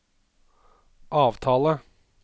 avtale